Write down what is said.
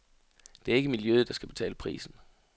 Det er ikke miljøet, der skal betale prisen.